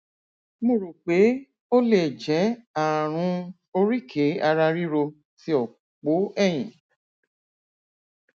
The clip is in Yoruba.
mo rò pé ó lè jẹ ààrùn oríkèéararíro ti òpó ẹyìn